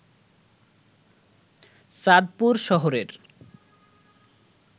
চাঁদপুর শহরের